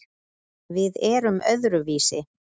Við erum öðruvísi